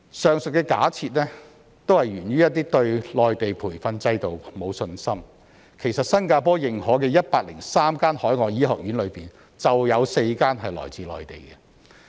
上述假設是源於對內地培訓制度沒有信心，其實新加坡認可的103間海外醫學院中，就有4間來自內地。